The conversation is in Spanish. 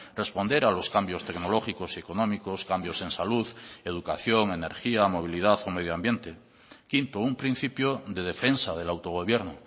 responder a los cambios tecnológicos y económicos cambios en salud educación energía movilidad o medio ambiente quinto un principio de defensa del autogobierno